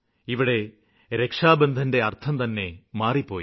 ഇവിടെ രക്ഷാബന്ധന്റെ അര്ത്ഥം തന്നെ മാറിപ്പോയി